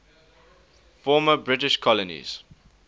former british colonies